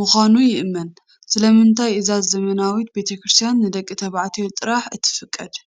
ምዃኑ ይእመን። ስለምንታይ እዛ ዘመናዊት ቤተ ክርስቲያን ንደቂ ተባዕትዮ ጥራይ እትፍቀድ?